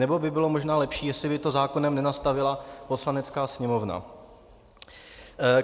Nebo by nebylo možná lepší, jestli by to zákonem nenastavila Poslanecká sněmovna?